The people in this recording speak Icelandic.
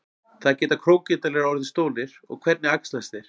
hvað geta krókódílar orðið stórir og hvernig æxlast þeir